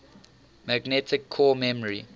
magnetic core memory